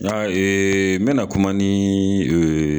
N y'a yee, n bɛna kuma nii